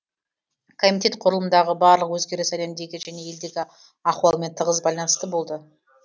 комитет құрылымындағы барлық өзгеріс әлемдегі және елдегі ахуалмен тығыз байланысты болды